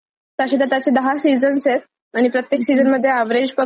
आणि प्रत्यक्ष सिरीज मध्ये एव्हरेज पकडल तरी वीस एकवीस एपिसोड असतीलच.